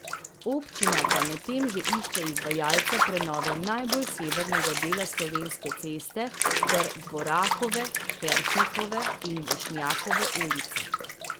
Občina pa medtem že išče izvajalca prenove najbolj severnega dela Slovenske ceste ter Dvorakove, Kersnikove in Vošnjakove ulice.